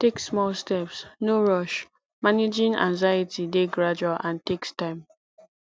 take small steps no rush managing anxiety dey gradual and takes time